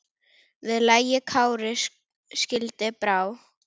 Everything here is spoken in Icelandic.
Við lagi Kári skildi brá.